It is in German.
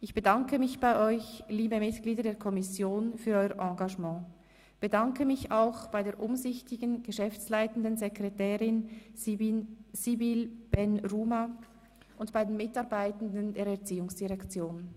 Ich bedanke mich bei euch, liebe Mitglieder der Kommission für euer Engagement, bedanke mich auch bei der umsichtigen geschäftsleitenden Sekretärin Sibylle Ben Rhouma und bei den Mitarbeitenden der Erziehungsdirektion.